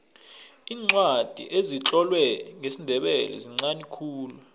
iincwadi ezitlolwe ngesindebele zinqani khulu